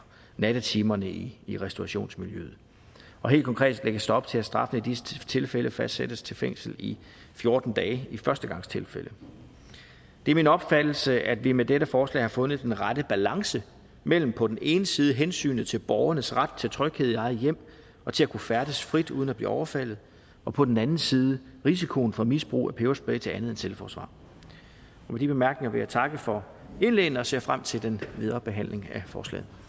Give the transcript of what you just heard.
nattetimerne i i restaurationsmiljøet og helt konkret lægges der op til at straffen i disse tilfælde fastsættes til fængsel i fjorten dage i førstegangstilfælde det er min opfattelse at vi med dette forslag har fundet den rette balance mellem på den ene side hensynet til borgernes ret til tryghed i eget hjem og til at kunne færdes frit uden at blive overfaldet og på den anden side risikoen for misbrug af peberspray til andet end selvforsvar med de bemærkninger vil jeg takke for indlæggene og ser frem til den videre behandling af forslaget